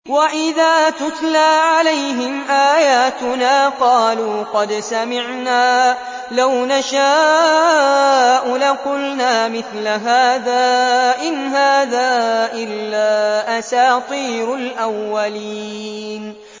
وَإِذَا تُتْلَىٰ عَلَيْهِمْ آيَاتُنَا قَالُوا قَدْ سَمِعْنَا لَوْ نَشَاءُ لَقُلْنَا مِثْلَ هَٰذَا ۙ إِنْ هَٰذَا إِلَّا أَسَاطِيرُ الْأَوَّلِينَ